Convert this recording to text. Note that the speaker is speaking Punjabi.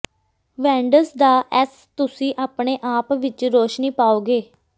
ਵੈਂਂਡਸ ਦਾ ਐੱਸ ਤੁਸੀਂ ਆਪਣੇ ਆਪ ਵਿੱਚ ਰੋਸ਼ਨੀ ਪਾਓਗੇ